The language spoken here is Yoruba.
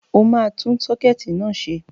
Ó máa tún sọ́kẹ́ẹ̀tì náà ṣe.